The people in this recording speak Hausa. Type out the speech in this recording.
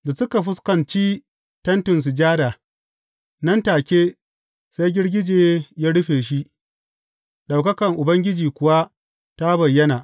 Da suka fuskanci Tentin Sujada, nan take sai girgije ya rufe shi, ɗaukaka Ubangiji kuwa ta bayyana.